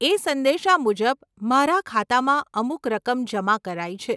એ સંદેશા મુજબ મારા ખાતામાં અમુક રકમ જમા કરાઈ છે.